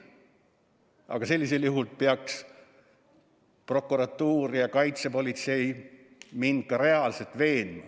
Aga sellisel juhul peaks prokuratuur ja kaitsepolitsei mind ka reaalselt veenma.